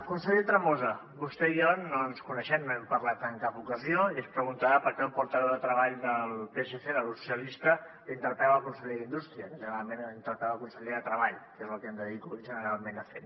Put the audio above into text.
conseller tremosa vostè i jo no ens coneixem no hem parlat en cap ocasió i es preguntarà per què el portaveu de treball del psc del grup socialista interpella el conseller d’indústria que generalment interpel·la el conseller de treball que és el que em dedico generalment a fer